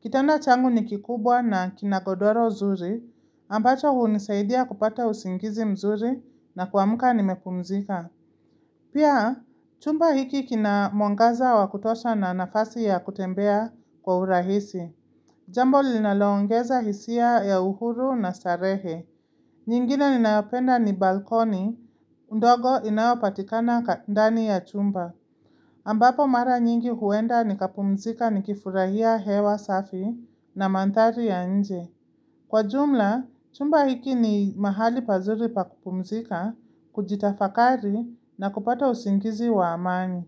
Kitanda changu ni kikubwa na kinagodoro nzuri, ambacho hunisaidia kupata usingizi mzuri na kuamka nimepumzika. Pia, chumba hiki kina mwangaza wa kutosha na nafasi ya kutembea kwa urahisi. Jambo linalongeza hisia ya uhuru na starehe. Nyingine ninaopenda ni balkoni, ndogo inayopatikana ndani ya chumba. Ambapo mara nyingi huenda nikapumzika nikifurahia hewa safi na mandhari ya nje. Kwa jumla, chumba hiki ni mahali pazuri pakupumzika, kujitafakari na kupata usingizi wa amani.